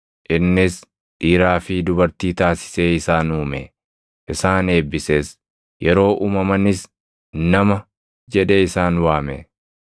Innis dhiiraa fi dubartii taasisee isaan uume; isaan eebbises. Yeroo uumamanis “Nama” jedhee isaan waame.